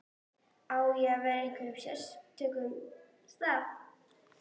Á ég að vera á einhverjum sérstökum stað?